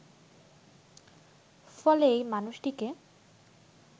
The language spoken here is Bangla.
ফলে এ মানুষটিকে